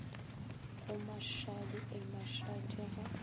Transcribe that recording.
go mashadi eh mashadi ge